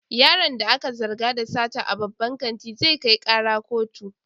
Yaron da aka zarga da sata a babban kantin, zai kai kara kotu